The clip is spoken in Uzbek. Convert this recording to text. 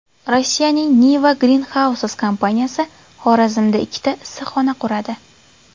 Rossiyaning Niva Greenhouses kompaniyasi Xorazmda ikkita issiqxona quradi.